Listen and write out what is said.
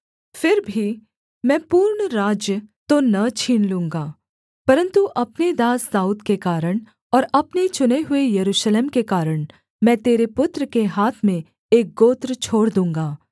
फिर भी मैं पूर्ण राज्य तो न छीन लूँगा परन्तु अपने दास दाऊद के कारण और अपने चुने हुए यरूशलेम के कारण मैं तेरे पुत्र के हाथ में एक गोत्र छोड़ दूँगा